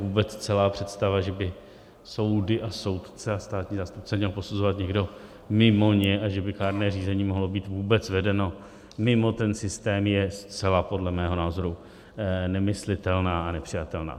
Vůbec celá představa, že by soudy a soudce a státní zástupce měl posuzovat někdo mimo ně a že by kárné řízení mohlo být vůbec vedeno mimo ten systém, je zcela podle mého názoru nemyslitelná a nepřijatelná.